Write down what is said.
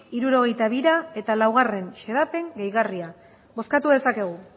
hirurogeita bira eta laugarren xedapen gehigarria bozkatu dezakegu